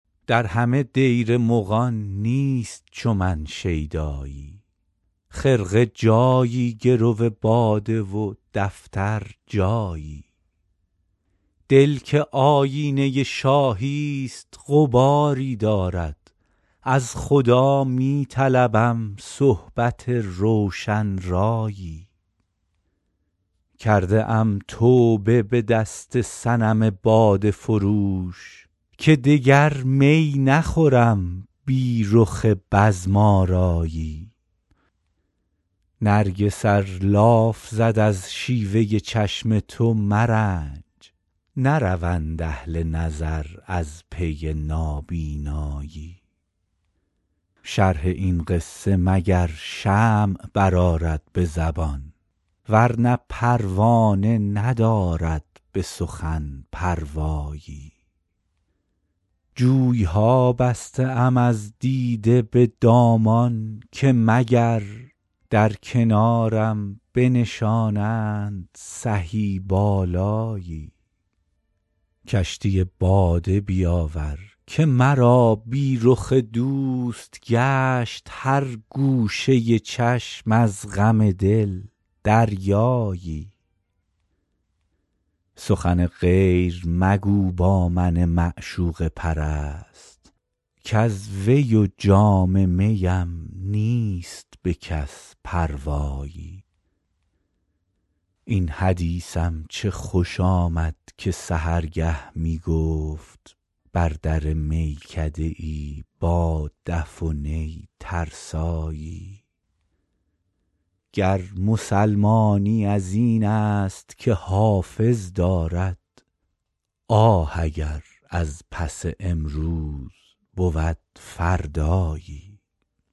در همه دیر مغان نیست چو من شیدایی خرقه جایی گرو باده و دفتر جایی دل که آیینه شاهی ست غباری دارد از خدا می طلبم صحبت روشن رایی کرده ام توبه به دست صنم باده فروش که دگر می نخورم بی رخ بزم آرایی نرگس ار لاف زد از شیوه چشم تو مرنج نروند اهل نظر از پی نابینایی شرح این قصه مگر شمع برآرد به زبان ورنه پروانه ندارد به سخن پروایی جوی ها بسته ام از دیده به دامان که مگر در کنارم بنشانند سهی بالایی کشتی باده بیاور که مرا بی رخ دوست گشت هر گوشه چشم از غم دل دریایی سخن غیر مگو با من معشوقه پرست کز وی و جام می ام نیست به کس پروایی این حدیثم چه خوش آمد که سحرگه می گفت بر در میکده ای با دف و نی ترسایی گر مسلمانی از این است که حافظ دارد آه اگر از پی امروز بود فردایی